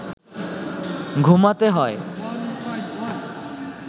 ঘুমাতে হয়